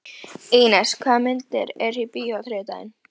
Ínes, hvaða myndir eru í bíó á þriðjudaginn?